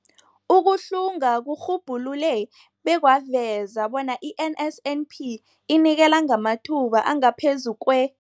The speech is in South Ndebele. Ukuhlunga kurhubhulule bekwaveza bona i-NSNP inikela ngamathuba angaphezu kwe-